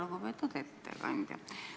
Lugupeetud ettekandja!